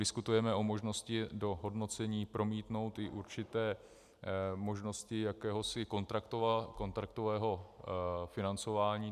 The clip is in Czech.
Diskutujeme o možnosti do hodnocení promítnout i určité možnosti jakéhosi kontraktového financování.